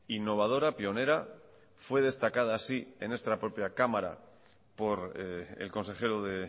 innovadora pionera fue destacada así en esta propia cámara por el consejero de